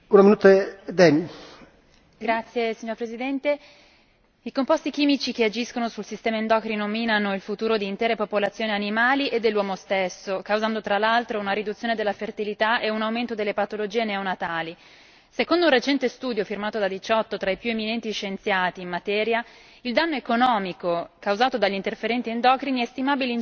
Signor Presidente, onorevoli colleghi, i composti chimici che agiscono sul sistema endocrino minano il futuro di intere popolazioni animali e dell'uomo stesso, causando tra l'altro, una riduzione della fertilità ed un aumento delle patologie neonatali. Secondo un recente studio firmato da 18 tra i più eminenti scienziati in materia, il danno economico causato dagli interferenti endocrini è stimabile in 157 miliardi di euro l'anno,